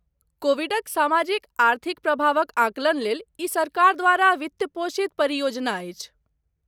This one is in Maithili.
कोविडक सामाजिक आर्थिक प्रभावक आंकलन लेल ई सरकार द्वारा वित्तपोषित परियोजना अछि।